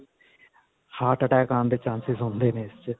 heart attack ਆਉਣ ਦੇ chances ਹੁੰਦੇ ਨੇ ਇਸ 'ਚ.